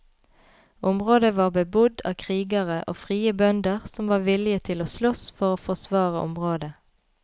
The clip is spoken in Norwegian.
Området var bebodd av krigere og frie bønder som var villige til å sloss for å forsvare området.